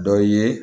Dɔ ye